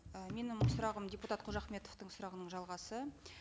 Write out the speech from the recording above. і менің сұрағым депутат қожахметовтың сұрағының жалғасы